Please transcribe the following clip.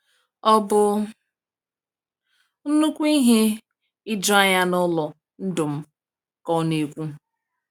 "Ọ bụ nnukwu ihe ijuanya n’ụlọ ndụ m," ka ọ na-ekwu.